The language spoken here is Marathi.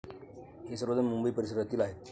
हे सर्वजण मुंबई परिसरातील आहेत.